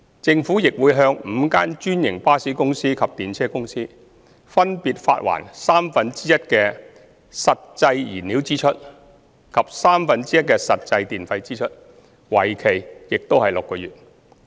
政府亦會向5間專營巴士公司及電車公司，分別發還三分之一的實際燃料支出及三分之一的實際電費支出，為期6個月。